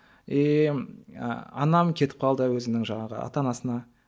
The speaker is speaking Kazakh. иии і анам кетіп қалды өзінің жаңағы ата анасына